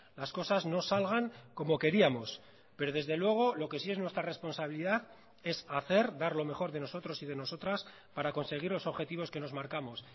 las cosas no salgan como queríamos pero desde luego lo que sí es nuestra responsabilidad es hacer dar lo mejor de nosotros y de nosotras para conseguir los objetivos que nos marcamos